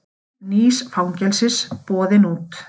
Bygging nýs fangelsis boðin út